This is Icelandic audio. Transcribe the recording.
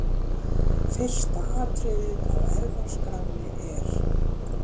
Fyrsta atriðið á ERFÐASKRÁNNI er.